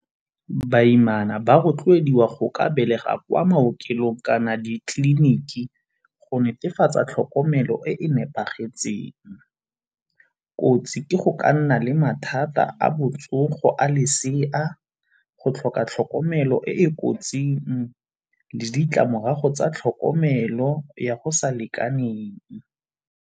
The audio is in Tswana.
Baimana ba rotloediwa go ka belega kwa maokelong kana di tleliniki go netefatsa tlhokomelo e e nepagetseng. Kotsi ke go ka nna nna le mathata a botsogo a lesea, go tlhoka tlhokomelo e e kotsing le ditlamorago tsa tlhokomelo ya go sa lekaneng.